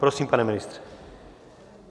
Prosím, pane ministře.